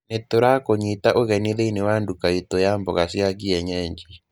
Nĩ tũrakũnyita ũgeni thĩinĩ wa nduka itũ ya mboga cia kienyeji.